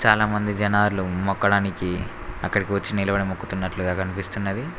చాలామంది జనాలు మోక్కడానికి అక్కడికి వచ్చి నిలబడి మొక్కుతున్నట్లుగా కనిపిస్తున్నది.